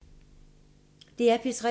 DR P3